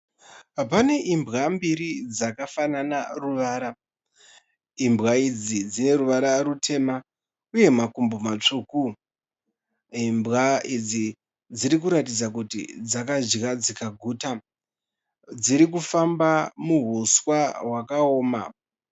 Pane imbwa mbiri dzakafanana ruvara. Imbwa idzi dzineruvara rutema uye makumbo matsvuku. Imbwa idzi dziri kuratidza kuti dzakadya dzikaguta. Dziri kufamba muhuswa hwakaoma.